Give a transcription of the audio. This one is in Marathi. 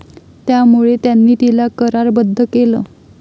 त्यामुळे त्यांनी तिला करारबद्ध केलं.